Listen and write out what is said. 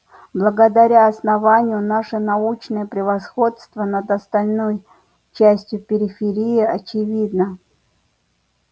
благодаря основанию наше научное превосходство над остальной частью периферии очевидно